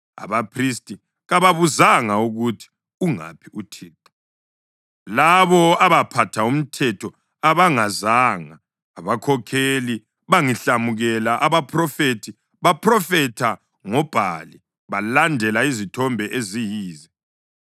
Abaphristi kababuzanga ukuthi, ‘Ungaphi UThixo?’ Labo abaphatha umthetho abangazanga; abakhokheli bangihlamukela. Abaphrofethi baphrofetha ngoBhali balandela izithombe eziyize.